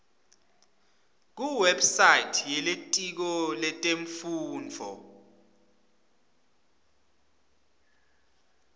kuwebsite yelitiko letemfundvo